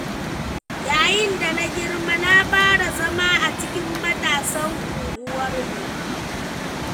Yayin da na girma, na fara zama a cikin matasan unguwarmu.